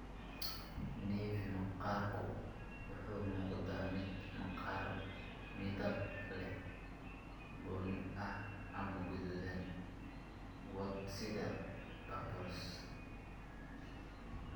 Nevi maqaarku wuxuu u muuqdaa mid maqaar midab leh, bunni ah, ama guduudan, wort sida papules.